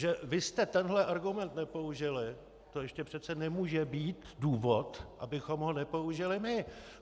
Že vy jste tenhle argument nepoužili, to ještě přece nemůže být důvod, abychom ho nepoužili my.